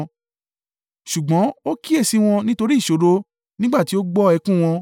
Ṣùgbọ́n ó kíyèsi wọn nítorí ìṣòro nígbà tí ó gbọ́ ẹkún wọn,